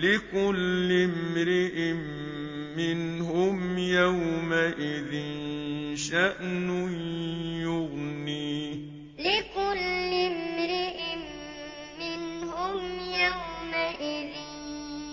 لِكُلِّ امْرِئٍ مِّنْهُمْ يَوْمَئِذٍ شَأْنٌ يُغْنِيهِ لِكُلِّ امْرِئٍ مِّنْهُمْ يَوْمَئِذٍ